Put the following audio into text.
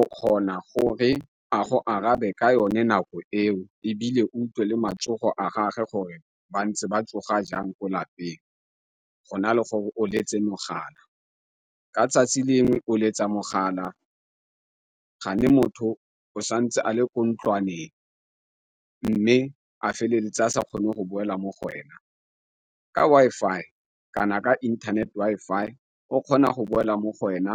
o kgona gore a go arabe ka yone nako eo ebile utlwe le matsogo a gage gore ba ntse ba tsoga jang ko lapeng, go na le gore o letse mogala. Ka tsatsi le lengwe o letsa mogala motho o santse a le ko ntlwaneng, mme a feleletse a sa kgone go boela mo go wena. Ka Wi-Fi kana ka inthanete Wi-Fi o kgona go boela mo go wena